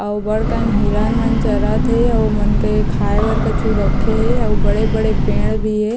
अउ बड़ कन हिरण मन चरत हे उ मन के खाय बड़ कछु रखे हे अउ बड़े-बड़े पेड़ भी हे ।